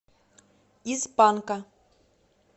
из панка